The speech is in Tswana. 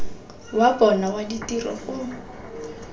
wa bona wa ditiro o